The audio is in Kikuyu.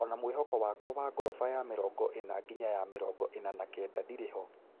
Ona mwakoĩnĩ wakwa wa goroba ya mĩrongo ĩna nginya ya mĩrongo ĩna na kenda ndĩrĩ ho.